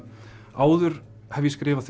áður hef ég skrifað